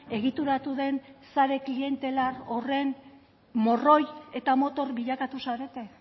egituratu den sare klientelar horren morroi eta motor bilakatu zarete